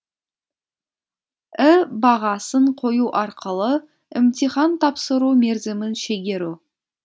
і бағасын қою арқылы імтихан тапсыру мерзімін шегеру